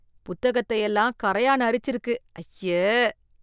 புத்தகத்தை எல்லாம் கரையான் அறிச்சிருக்கு, ஐய.